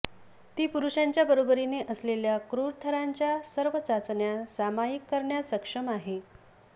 ती पुरुषांच्या बरोबरीने असलेल्या क्रूर थरांच्या सर्व चाचण्या सामायिक करण्यास सक्षम आहे